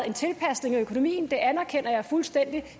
en tilpasning af økonomien det anerkender jeg fuldstændig